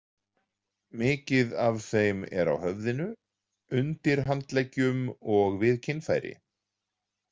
Mikið af þeim er á höfðinu, undir handleggjum og við kynfæri.